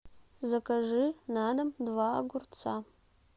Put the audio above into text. закажи на дом два огурца